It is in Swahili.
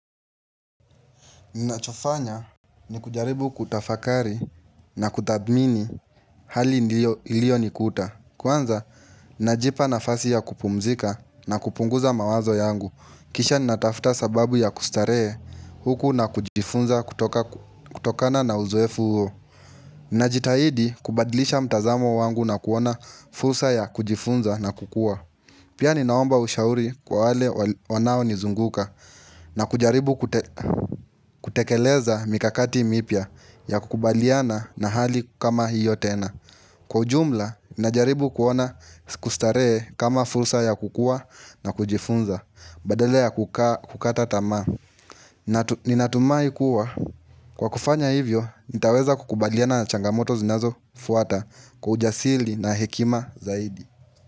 Ninachofanya ni kujaribu kutafakari na kutadhmini hali iliyonikuta. Kwanza, najipa nafasi ya kupumzika na kupunguza mawazo yangu. Kisha natafuta sababu ya kustarehe huku na kujifunza kutokana na uzoefu huo. Ninajitahidi kubadlisha mtazamo wangu na kuona fursa ya kujifunza na kukua. Pia ninaomba ushauri kwa wale wanao nizunguka na kujaribu kutekeleza mikakati mipya ya kukubaliana na hali kama hiyo tena. Kwa ujumla, ninajaribu kuona kustarehe kama fursa ya kukua na kujifunza, badala ya kukata tamaa. Ninatumai kuwa. Kwa kufanya hivyo, nitaweza kukubaliana na changamoto zinazo fuata kwa ujasiri na hekima zaidi.